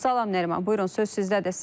Salam Nəriman, buyurun söz sizdədir.